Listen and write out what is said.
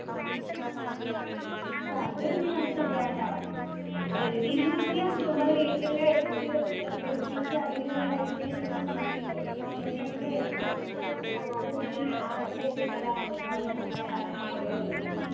അത് നീ പറഞ്ഞത് ശരിയാട്ടാ. ഒരു രീതിയിൽ നോക്കിയാൽ നമ്മുടെ വീട്ടില് വെച്ച് ഏർ പിടിപ്പിച്ചു അതിൽനിന്ന് തന്നെ കഴിക്കുന്നത് തന്നെയാണ് നല്ലത്, ഇപ്പോഴത്തെ പച്ചക്കറിയിൽ ഒക്കെ വിഷമാ. അവസാനം ഉണ്ടാക്കുന്ന സമയം ഉള്ളത്.